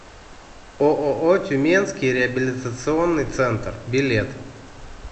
ооо тюменский реабилитационный центр билет